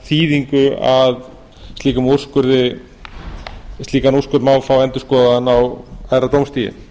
þýðingu að slíkan úrskurð má fá endurskoðaðan á hærra dómstigi